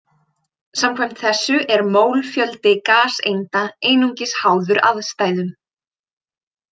Samkvæmt þessu er mólfjöldi gaseinda einungis háður aðstæðum.